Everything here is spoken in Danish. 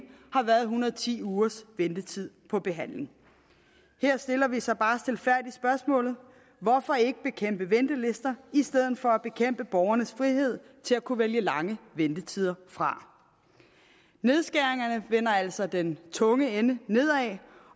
har været en hundrede og ti ugers ventetid på behandling her stiller venstre så bare stilfærdigt spørgsmålet hvorfor ikke bekæmpe ventelister i stedet for at bekæmpe borgernes frihed til at kunne vælge lange ventetider fra nedskæringerne vender altså den tunge ende nedad